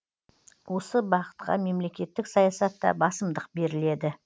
осы бағытқа мемлекеттік саясатта басымдық беріледі